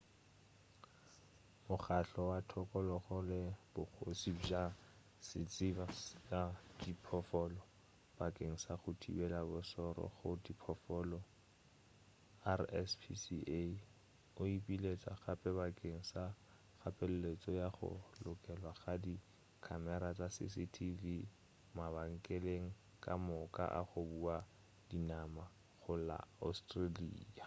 mokgahlo wa thokologo le bogoši bja setšaba sa diphoofolo bakeng sa go thibela bošoro go diphoofolo rspca o ipiletša gape bakeng sa kgapeletšo ya go lokelwa ga di khamera tša cctv mabenkeleng ka moka a go bua dinama go la australia